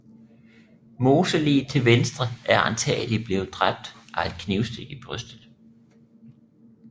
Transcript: Moseliget til venstre er antagelig blevet dræbt af et knivstik i brystet